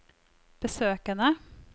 besøkene